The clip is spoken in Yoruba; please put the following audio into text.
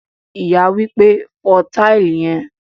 Ìyá wípé, "fo tile yen"